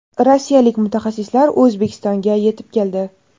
rossiyalik mutaxassislar O‘zbekistonga yetib keldi.